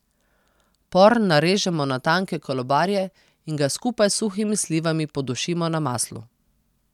Por narežemo na tanke kolobarje in ga skupaj s suhimi slivami podušimo na maslu.